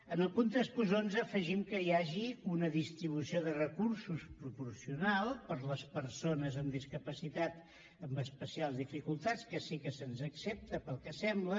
en el punt tres cents i onze afegim que hi hagi una distribució de recursos proporcional per a les persones amb discapacitat amb especials dificultats que sí que se’ns accepta pel que sembla